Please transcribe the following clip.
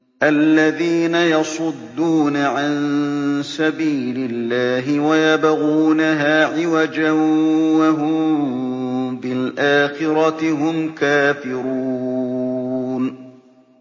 الَّذِينَ يَصُدُّونَ عَن سَبِيلِ اللَّهِ وَيَبْغُونَهَا عِوَجًا وَهُم بِالْآخِرَةِ هُمْ كَافِرُونَ